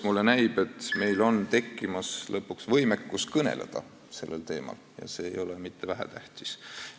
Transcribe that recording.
Mulle näib, et meil on lõpuks tekkimas võimekus sellel teemal kõneleda, ja see ei ole mitte vähetähtis.